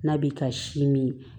N'a bi ka si min